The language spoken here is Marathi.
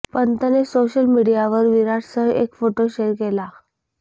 पंतने सोशल मीडियावर विराटसह एक फोटो शेअर केला